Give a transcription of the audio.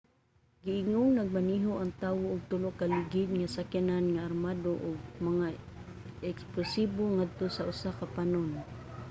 giingong nagmaneho ang tawo og tulo ka ligid nga sakyanan nga armado og mga eksplosibo ngadto sa usa ka panon